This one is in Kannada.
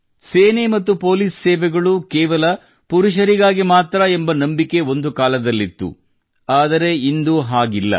ಸೇನೆ ಮತ್ತು ಪೊಲೀಸ್ ಸೇವೆಗಳು ಕೇವಲ ಪುರುಷರಿಗಾಗಿ ಮಾತ್ರಾ ಎಂಬ ನಂಬಿಕೆ ಒಂದು ಕಾಲದಲ್ಲಿತ್ತು ಆದರೆ ಇಂದು ಹಾಗಿಲ್ಲ